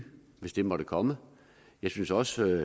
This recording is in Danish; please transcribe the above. hvis det måtte komme jeg synes også